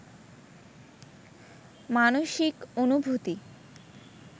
মানসিক অনুভূতি